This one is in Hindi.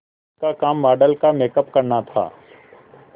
उसका काम मॉडल का मेकअप करना था